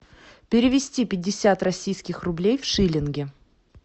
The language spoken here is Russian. перевести пятьдесят российских рублей в шиллинги